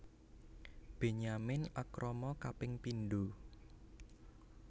Benyamin akrama kaping pindho